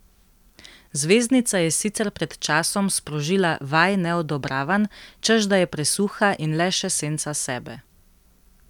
Zvezdnica je sicer pred časom sprožila vaj neodobravanj, češ da je presuha in le še senca sebe.